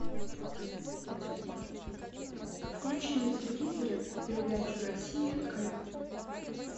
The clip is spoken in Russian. включи на телевизоре передачу россия к